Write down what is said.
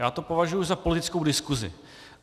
Já to považuji za politickou diskusi.